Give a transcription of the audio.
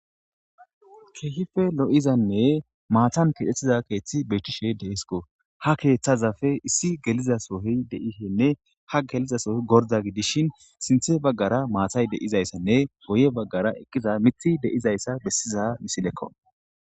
Kehippe lo'iizanne maatan kexxetids keththey bettishe dessiko ha keththazsppe issi geliza sohoy deishene ha geliza sohoy gordda gidishin sinththe baggara maatay deizayssanne guye baggara eqqidi miththi diizayssa bessiza missilekko.